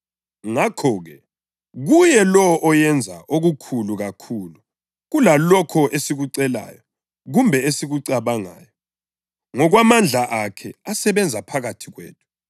Ngakho-ke, kuye lowo oyenza okukhulu kakhulu kulalokho esikucelayo kumbe esikucabangayo, ngokwamandla akhe asebenza phakathi kwethu,